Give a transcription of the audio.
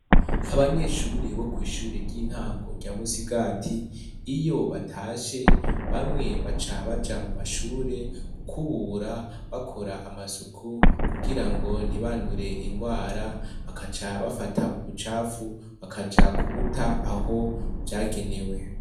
Abanyeshure bo kw'ishure ry'intango rya Musigati. Iyo batashe, bamwe baca baja mu mashure, gukubura bakora amasuku, kugira ngo ntibandure indwara. Bagaca bafata ubucafu bakaja kubuta aho vyagenewe.